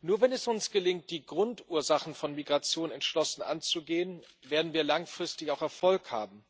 Nur wenn es uns gelingt, die Grundursachen von Migration entschlossen anzugehen, werden wir langfristig auch Erfolg haben.